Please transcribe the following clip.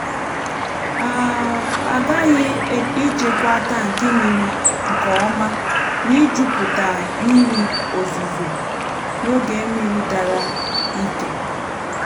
a um ghaghị ichekwa tankị mmiri nkèọ́má n’ịjupụta mmiri ozuzo um n’oge mmiri dara ike. um